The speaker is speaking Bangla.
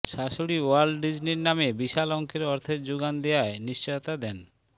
শাশুড়ী ওয়াল্ট ডিজনীর নামে বিশাল অঙ্কের অর্থের যোগান দেয়ার নিশ্চয়তা দেন